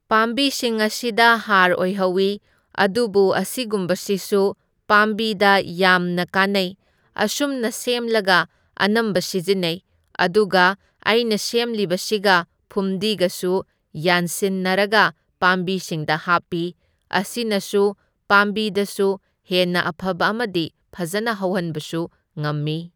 ꯄꯥꯝꯕꯤꯁꯤꯡ ꯑꯁꯤꯗ ꯍꯥꯔ ꯑꯣꯏꯍꯧꯢ, ꯑꯗꯨꯕꯨ ꯑꯁꯤꯒꯨꯝꯕꯁꯤꯁꯨ ꯄꯥꯝꯕꯤꯗ ꯌꯥꯝꯅ ꯀꯥꯟꯅꯩ, ꯑꯁꯨꯝꯅ ꯁꯦꯝꯂꯒ ꯑꯅꯝꯕ ꯁꯤꯖꯤꯟꯅꯩ, ꯑꯗꯨꯒ ꯑꯩꯅ ꯁꯦꯝꯂꯤꯕꯁꯤꯒ ꯐꯨꯝꯗꯤꯒꯁꯨ ꯌꯥꯟꯁꯤꯟꯅꯔꯒ ꯄꯥꯝꯕꯤꯁꯤꯡꯗ ꯍꯥꯞꯄꯤ, ꯑꯁꯤꯅꯁꯨ ꯄꯥꯝꯕꯤꯗꯁꯨ ꯍꯦꯟꯅ ꯑꯐꯕ ꯑꯃꯗꯤ ꯐꯖꯅ ꯍꯧꯍꯟꯕꯁꯨ ꯉꯝꯃꯤ꯫